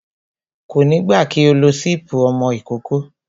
Kò ní gbà kí o lo sípí ọmọ ìkókó